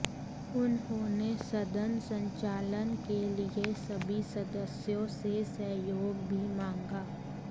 उन्होंने सदन संचालन के लिए सभी सदस्यों से सहयोग भी मांगा